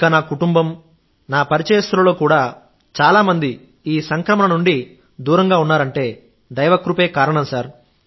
ఇంకా నా కుటుంబం నా పరిచయస్తులలో చాలామంది ఈ సంక్రమణ నుండి దూరంగా ఉన్నారంటే దైవ కృప కారణం